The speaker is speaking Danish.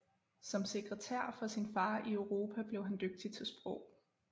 Som sekretær for sin far i Europa blev han dygtig til sprog